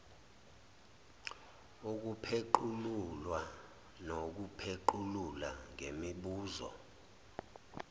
ukupheqululwa nokuphequlula ngemibuzo